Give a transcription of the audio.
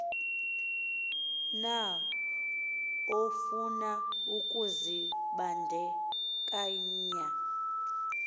na ofuna ukuzibandakanya